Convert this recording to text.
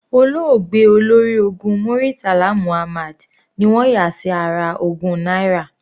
Olóògbé Olórí ológun Muritala Muhammad ni wọ́n yà sí ara ogún náírà.